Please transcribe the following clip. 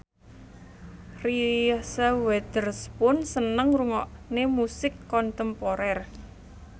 Reese Witherspoon seneng ngrungokne musik kontemporer